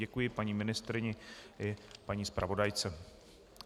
Děkuji paní ministryni i paní zpravodajce.